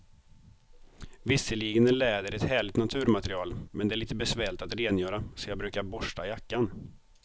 Visserligen är läder ett härligt naturmaterial, men det är lite besvärligt att rengöra, så jag brukar borsta jackan.